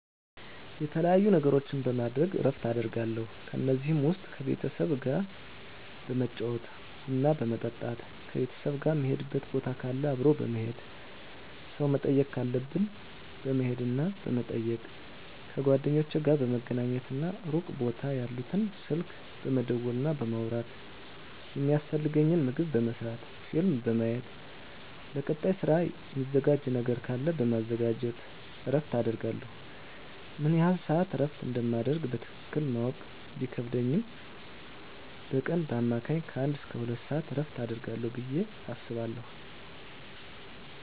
የተለያዩ ነገሮችን በማድረግ እረፍት አደርጋለሁ ከነዚህም ውስጥ ከቤተሰብ ጋር በመጫወት ቡና በመጠጣት ከቤተሰብ ጋር ምንሄድበት ቦታ ካለ አብሮ በመሄድ ሰው መጠየቅ ካለብን በመሄድና በመጠየቅ ከጓደኞቼ ጋር በመገናኘትና ሩቅ ቦታ ያሉትን ስልክ በመደወልና በማውራት የሚያስፈልገኝን ምግብ በመስራት ፊልም በማየት ለቀጣይ ስራ ሚዘጋጅ ነገር ካለ በማዘጋጀት እረፍት አደርጋለሁ። ምን ያህል ስዓት እረፍት እንደማደርግ በትክክል ማወቅ ቢከብድም በቀን በአማካኝ ከአንድ እስከ ሁለት ሰዓት እረፍት አደርጋለሁ ብየ አስባለሁ።